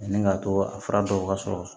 Ani k'a to a fura dɔw ka sɔrɔ